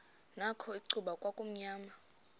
nakho icuba kwakumnyama